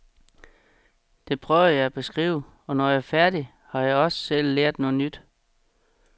Det prøver jeg at beskrive, og når jeg er færdig, har jeg også selv lært noget nyt.